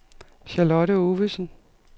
Charlotte Ovesen